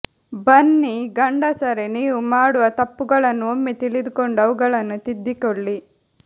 ಬನ್ನಿ ಗಂಡಸರೆ ನೀವು ಮಾಡುವ ತಪ್ಪುಗಳನ್ನು ಒಮ್ಮೆ ತಿಳಿದುಕೊಂಡು ಅವುಗಳನ್ನು ತಿದ್ದಿಕೊಳ್ಳಿ